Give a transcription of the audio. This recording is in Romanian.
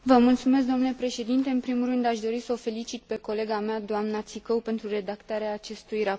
În primul rând aș dori să o felicit pe colega mea, doamna Țicău, pentru redactarea acestui raport excelent.